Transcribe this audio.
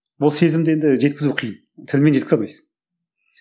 ол сезімді енді жеткізу қиын тілмен жеткізе алмайсың